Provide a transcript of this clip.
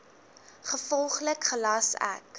gevolglik gelas ek